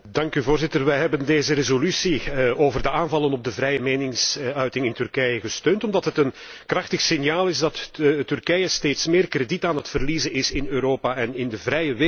Wij hebben deze resolutie over de aanvallen op de vrije meningsuiting in Turkije gesteund, omdat het een krachtig signaal is dat Turkije steeds meer krediet aan het verliezen is in Europa en in de vrije wereld.